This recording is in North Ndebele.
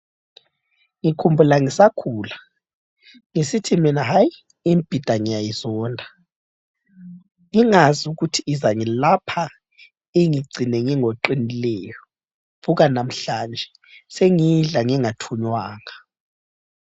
Ngikhumbula ngisakhula ngisithi mina hayi imbhida ngiyayizonda. Ngingazi ukuthi izangilapha ingigcine ngingoqinileyo. Buka namhlanje sengiyidla ngingathunywanga.